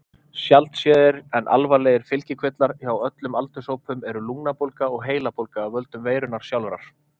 Sjaldséðir en alvarlegir fylgikvillar hjá öllum aldurshópum eru lungnabólga og heilabólga af völdum veirunnar sjálfrar.